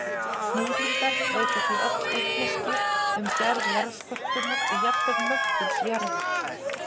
Hnyðlingar veita því oft vitneskju um gerð jarðskorpunnar og jafnvel möttuls jarðar.